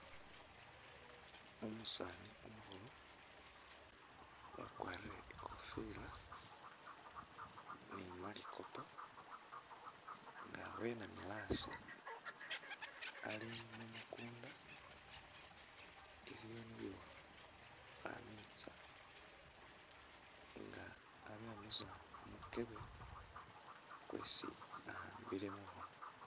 Umusni umukhulu wakwarile ikofila ni malikupu nga wenamile hasi ali mumukunda iliwo ni khamitsa nga abyamisa mumukyebe kwesi ahambile mukhono.